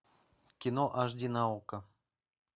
кино аш ди на окко